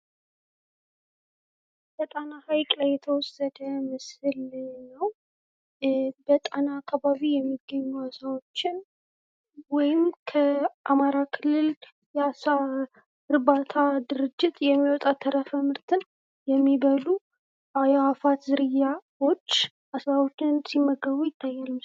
ከጣና ሀይቅ ላይ የተወሰደ ምስል ነው። በጣና አካባቢ የሚገኙ አሳዎችን ወይም ከአማራ ክልል የአሳ እርባታ ድርጀት የሚወጣ ተረፈ ምርትን የሚበሉ የአዕዋፍት ዝርያዎች አሳዎችን ሲመገቡ ይታያል።